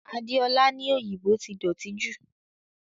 Adeola ní òyìnbó ti dọ̀tí jù